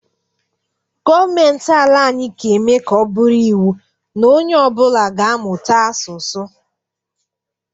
Gọọmentị ala anyị ga-eme ka ọ bụrụ iwu na ọ nye ọbụla ga- amụta asusụ.